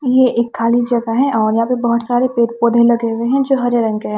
ये एक खाली जगह है और यहां पे बहोत सारे पेड़ पौधे लगे हुए हैं जो हरे रंग के हैं।